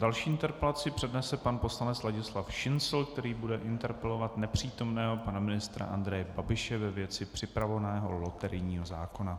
Další interpelaci přednese pan poslanec Ladislav Šincl, který bude interpelovat nepřítomného pana ministra Andreje Babiše ve věci připravovaného loterijního zákona.